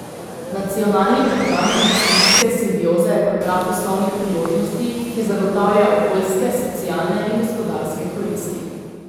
Nacionalni program industrijske simbioze je program poslovnih priložnosti, ki zagotavlja okoljske, socialne in gospodarske koristi.